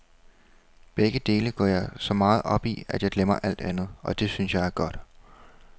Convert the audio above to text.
Begge dele går jeg så meget op i, at jeg glemmer alt andet, og det synes jeg er godt.